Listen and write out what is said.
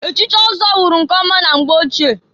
Echichi ọzọ wụrụ nke ọma na mgbe ochie.